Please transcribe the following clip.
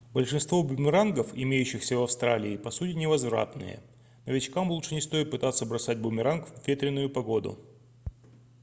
большинство бумерангов имеющихся в австралии по сути невозвратные новичкам лучше не стоит пытаться бросать бумеранг в ветреную погоду